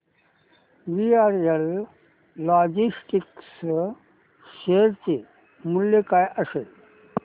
VRL logistics share चे मूल्य काय असेल